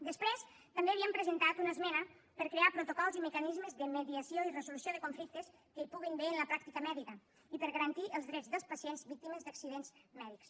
després també havíem presentat una esmena per a crear protocols i mecanismes de mediació i resolució de conflictes que hi puguin haver en la pràctica mèdica i per a garantir els drets dels pacients víctimes d’accidents mèdics